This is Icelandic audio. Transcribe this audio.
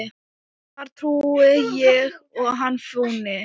þar trúi ég hann fúni.